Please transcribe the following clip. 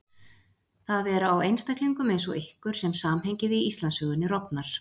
Það er á einstaklingum eins og ykkur sem samhengið í Íslandssögunni rofnar.